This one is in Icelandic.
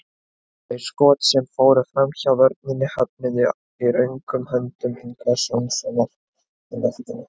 Þau skot sem fóru framhjá vörninni höfnuðu í öruggum höndum Ingvars Jónssonar í markinu.